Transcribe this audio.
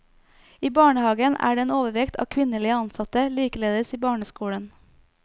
I barnehagen er det en overvekt av kvinnelige ansatte, likeledes i barneskolen.